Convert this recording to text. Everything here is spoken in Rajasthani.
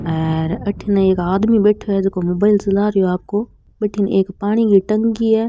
और अठीने एक आदमी बैठे है जोको मोबाईल चला रेहो है आको भटीने एक पानी की टंकी है।